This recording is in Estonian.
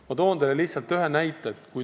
Ma toon teile lihtsalt ühe näite.